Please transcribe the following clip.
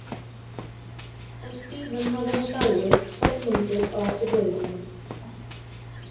En síðan hafði hann dáið kornungur, á eftir föður sínum.